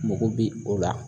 Mago bi o la.